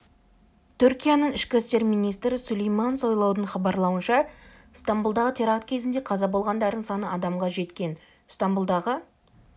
түркияның ішкі істер министрі сүлейман сойлудың хабарлауынша стамбұлдағы теракт кезінде қаза болғандардың саны адамға жеткен стамбұлдағы